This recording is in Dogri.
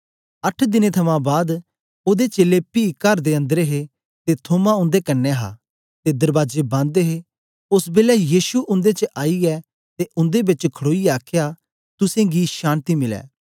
अट्ठ दिनें थमां बाद ओदे चेलें पी कर दे अंदर हे ते थोमा उन्दे कन्ने हा ते दरबाजे बन्द हे ओस बेलै यीशु उन्दे च आईयै ते उन्दे बेच खडोईयै आखया तुसेंगी शान्ति मिलै